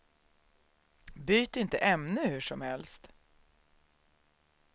Byt inte ämne hur som helst.